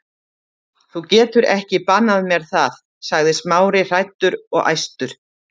Þú getur ekki bannað mér það- sagði Smári, hræddur og æstur.